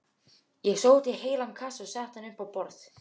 Ég sótti heilan kassa og setti hann upp á borð.